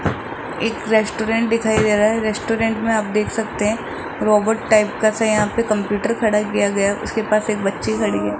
एक रेस्टोरेंट दिखाई दे रहा है रेस्टोरेंट में आप देख सकते हैं रोबोट टाइप का सा यहां पे कंप्यूटर खड़ा किया गया है उसके पास एक बच्ची खड़ी है।